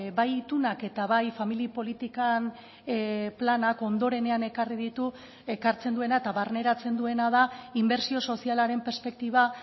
bai itunak eta bai familia politikan planak ondorenean ekarri ditu ekartzen duena eta barneratzen duena da inbertsio sozialaren perspektiba